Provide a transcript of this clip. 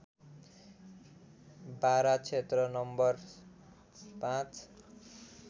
बारा क्षेत्र नं ५